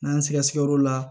N'an sɛgɛsɛgɛ o la